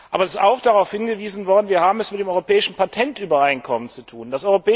Aber es ist auch darauf hingewiesen worden, dass wir es mit dem Europäischen Patentübereinkommen zu tun haben.